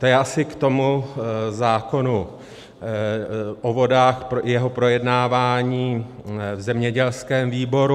To je asi k tomu zákonu o vodách, jeho projednávání v zemědělském výboru.